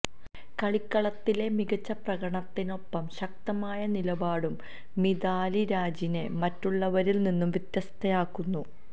കളിക്കളത്തിലെ മികച്ച പ്രകടനത്തിനൊപ്പം ശക്തമായ നിലപാടും മിതാലി രാജിനെ മറ്റുള്ളവരില് നിന്നും വ്യത്യസ്ഥയാക്കുന്നു